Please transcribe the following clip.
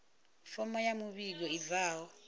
fomo ya muvhigo i bvaho